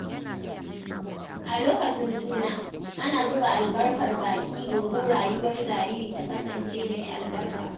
A lokacin suna, ana zuba albarkar baki don rayuwar jariri ta kasance mai albarka.